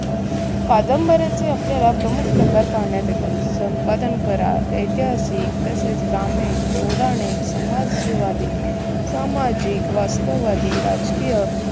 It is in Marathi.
कादंबऱ्यांचे आपल्याला प्रमुख प्रकार पाहण्यात येतात. संपादन करार, ऐतिहासिक तसेच ग्रामीण, पौराणिक, समाजवादी, सामाजिक, वास्तववादी, राजकीय